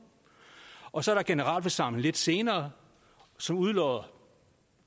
og der så er generalforsamling lidt senere som udlodder